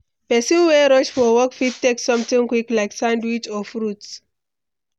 Pesin wey rush for work fit take something quick like sandwich or fruit.